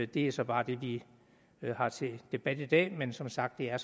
det er så bare det vi har til debat i dag men som sagt er